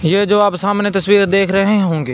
यह जो आप सामने तस्वीर देख रहे होंगे।